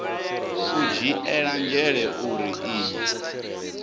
u dzhiela nzhele uri iyi